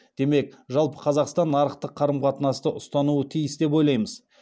демек жалпы қазақстан нарықтық қарым қатынасты ұстануы тиіс деп ойлаймыз